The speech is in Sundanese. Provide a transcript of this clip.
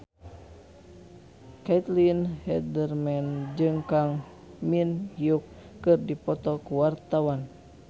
Caitlin Halderman jeung Kang Min Hyuk keur dipoto ku wartawan